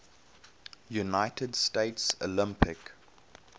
united states olympic